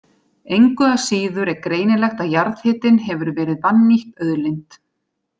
Engu að síður er greinilegt að jarðhitinn hefur verið vannýtt auðlind.